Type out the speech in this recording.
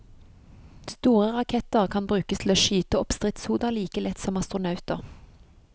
Store raketter kan brukes til å skyte opp stridshoder like lett som astronauter.